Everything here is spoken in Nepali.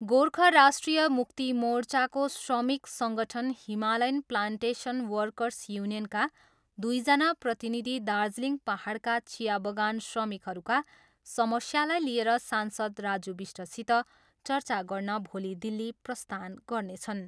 गोर्खा राष्ट्रिय मुक्ति मोर्चाको श्रमिक सङ्गठन हिमालयन प्लान्टेसन वर्कर्स युनियनका दुईजना प्रतिनिधि दार्जिलिङ पाहाडका चिया बगान श्रमिकहरूका समस्यालाई लिएर सांसद राजु बिष्टसित चर्चा गर्न भोलि दिल्ली प्रस्थान गर्नेछन्।